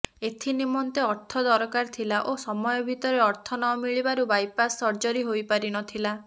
ଏଥିନିମେନ୍ତ ଅର୍ଥ ଦରକାର ଥିଲା ଓ ସମୟ ଭିତରେ ଅର୍ଥ ନ ମିଳିବାରୁ ବାଇପାସ୍ ସର୍ଜରୀ ହୋଇପାରିନଥିଲା